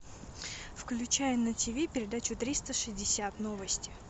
включай на тв передачу триста шестьдесят новости